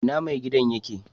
Ina mai gidan yake?